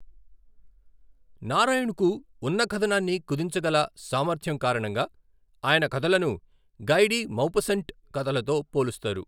నారాయణ్కు ఉన్న కథనాన్ని కుదించగల సామర్థ్యం కారణంగా ఆయన కథలను గై డి మౌపస్సంట్ కథలతో పోలుస్తారు.